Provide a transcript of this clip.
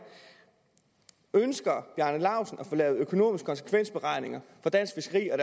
ønsker herre bjarne laustsen at få lavet økonomiske konsekvensberegninger for dansk fiskeri og